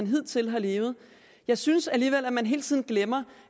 hidtil har levet jeg synes alligevel at man hele tiden glemmer